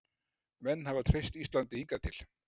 Menn hafa treyst Íslandi hingað til